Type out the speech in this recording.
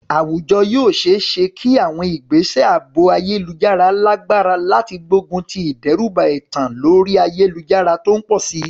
Àwùjọ yóò ṣe é ṣe kí àwọn ìgbésẹ̀ ààbò ayélujára lágbára láti gbógun ti ìdẹ́rùbà ẹ̀tàn orí ayélujára tó ń pọ̀ sí i.